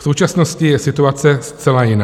V současnosti je situace zcela jiná.